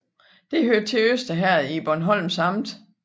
Det hørte til Øster Herred i Bornholms Amt